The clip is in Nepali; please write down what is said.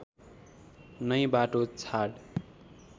नै बाटो छाड्